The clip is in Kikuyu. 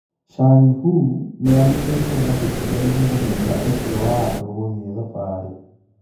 Changhu nĩĩrutĩtwo mahĩtia nĩmũhĩnga ũcio wa andũ gũthiĩ thabarĩ.